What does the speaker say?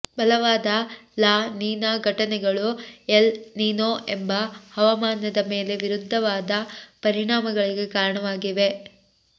ಬಲವಾದ La Nina ಘಟನೆಗಳು El Nino ಎಂಬ ಹವಾಮಾನದ ಮೇಲೆ ವಿರುದ್ಧವಾದ ಪರಿಣಾಮಗಳಿಗೆ ಕಾರಣವಾಗಿವೆ